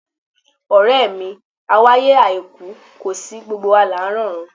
Ọ̀rẹ́ mi, awáyé àìkú kò sí, gbogbo wa là ń rọ̀run.